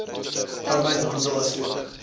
arbeid handel asook